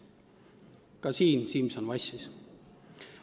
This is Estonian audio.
Ka siin Simson vassis.